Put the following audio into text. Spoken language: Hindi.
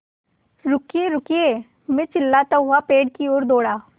रुकिएरुकिए मैं चिल्लाता हुआ पेड़ की ओर दौड़ा